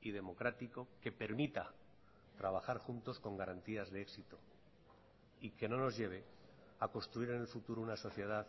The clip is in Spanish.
y democrático que permita trabajar juntos con garantías de éxito y que no nos lleve a construir en el futuro una sociedad